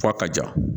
F'a ka ja